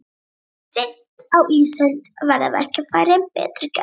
Seint á ísöld verða verkfærin betur gerð.